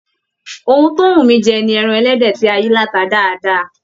Òhun tó n wú mí jẹ ní ẹran ẹlẹdẹ tí a yìí lata dáadáa.